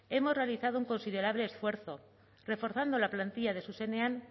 hemos realizado un considerable esfuerzo reforzando la plantilla de zuzenean